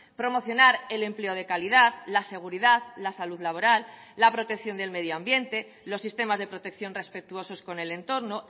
promocionar el empleo de calidad la seguridad la salud laboral la protección del medioambiente los sistemas de protección respetuosos con el entorno